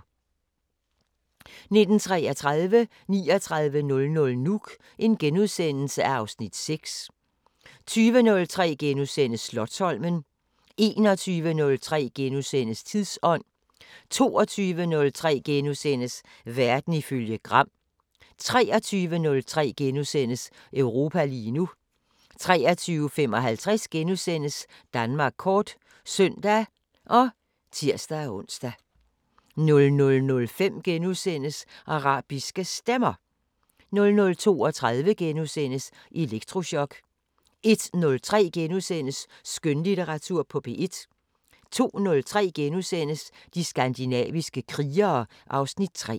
19:33: 3900 Nuuk (Afs. 6)* 20:03: Slotsholmen * 21:03: Tidsånd * 22:03: Verden ifølge Gram * 23:03: Europa lige nu * 23:55: Danmark kort *(søn og tir-ons) 00:05: Arabiske Stemmer * 00:32: Elektrochok * 01:03: Skønlitteratur på P1 * 02:03: De skandinaviske krigere (Afs. 3)*